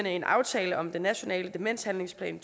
en aftale om den nationale demenshandlingsplan